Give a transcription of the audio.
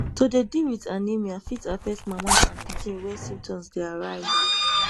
to dey deal wit anemia fit affect mama and pikin wen symptoms dey arise